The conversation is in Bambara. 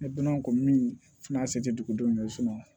Ne donna kɔni fɛna se dugudenw ma